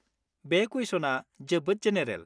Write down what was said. बे कुइसनआ जोबोद जेनेरेल।